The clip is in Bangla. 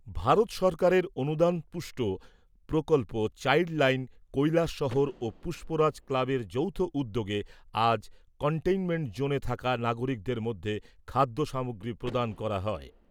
ভারত সরকারের অনুদানপুষ্ট প্রকল্প চাইল্ড লাইন কৈলাসহর ও পুষ্পরাজ ক্লাবের যৌথ উদ্যোগে আজ কনটেইনমেন্ট জোনে থাকা নাগরিকদের মধ্যে খাদ্যসামগ্রী প্রদান করা হয় ।